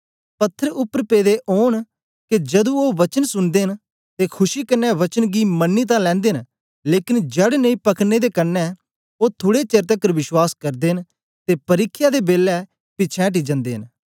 पत्थर उपर पेदे ओन के जदू ओ वचन सुनदे न ते खुशी कन्ने वचन गी मन्नी तां लैंदे न लेकन जड़ नेई पकड़ने दे कन्ने ओ थुड़े चेर तकर बश्वास करदे न ते परिख्या दे बेलै पिछें अटी जनदे न